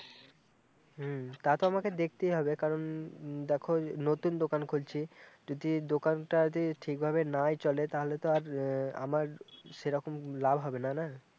হম তা তো আমাকে দেখতেই হবে কারণ দেখো নতুন দোকান খুলছি যদি দোকানটা যদি ঠিকভাবে নাই চলে তালে তো আর আমার সেইরকম লাভ হবেনা না